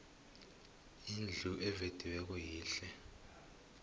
indlu evediweko yihle